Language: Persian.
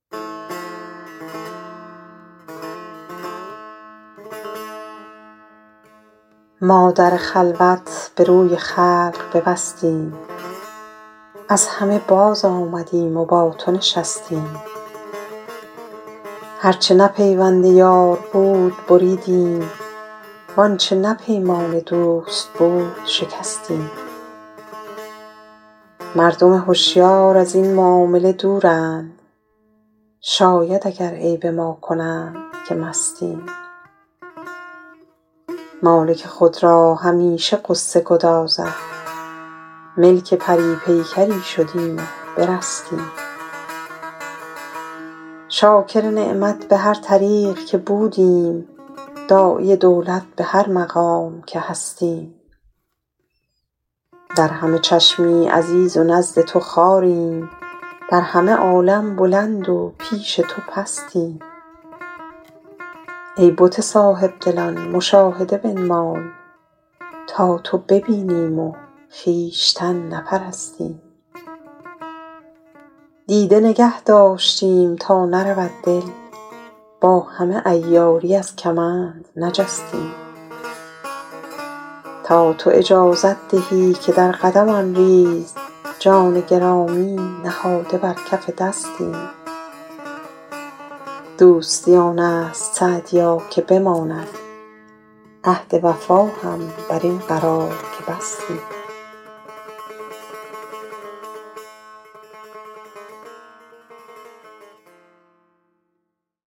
ما در خلوت به روی خلق ببستیم از همه بازآمدیم و با تو نشستیم هر چه نه پیوند یار بود بریدیم وآنچه نه پیمان دوست بود شکستیم مردم هشیار از این معامله دورند شاید اگر عیب ما کنند که مستیم مالک خود را همیشه غصه گدازد ملک پری پیکری شدیم و برستیم شاکر نعمت به هر طریق که بودیم داعی دولت به هر مقام که هستیم در همه چشمی عزیز و نزد تو خواریم در همه عالم بلند و پیش تو پستیم ای بت صاحب دلان مشاهده بنمای تا تو ببینیم و خویشتن نپرستیم دیده نگه داشتیم تا نرود دل با همه عیاری از کمند نجستیم تا تو اجازت دهی که در قدمم ریز جان گرامی نهاده بر کف دستیم دوستی آن است سعدیا که بماند عهد وفا هم بر این قرار که بستیم